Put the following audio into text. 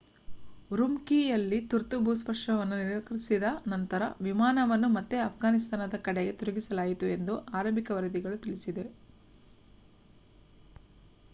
ಉರುಮ್ಕೀಯಲ್ಲಿ ತುರ್ತು ಭೂಸ್ಪರ್ಶವನ್ನು ನಿರಾಕರಿಸಿದ ನಂತರ ವಿಮಾನವನ್ನು ಮತ್ತೆ ಅಫ್ಘಾನಿಸ್ತಾನದ ಕಡೆಗೆ ತಿರುಗಿಸಲಾಯಿತು ಎಂದು ಆರಂಭಿಕ ವರದಿಗಳು ತಿಳಿಸಿವೆ